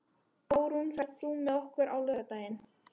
Árún, ferð þú með okkur á laugardaginn?